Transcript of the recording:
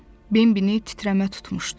Bembi titrəmə tutmuşdu.